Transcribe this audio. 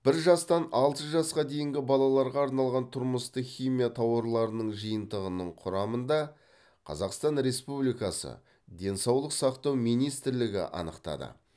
бір жастан алты жасқа дейінгі балаларға арналған тұрмыстық химия тауарларының жиынтығының құрамын да қазақстан республикасы денсаулық сақтау министрлігі анықтады